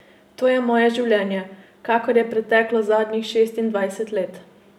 To je moje življenje, kakor je preteklo zadnjih šestindvajset let.